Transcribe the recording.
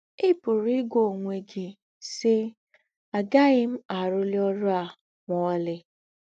Ì pụ̀rù́ ígwà ǒnwé gị, sì: ‘ Àgàghị m àrụ́lí ọ́rụ̀ à mà ọ̀lí. ’